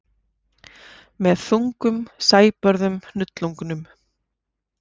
Með þungum sæbörðum hnullungum.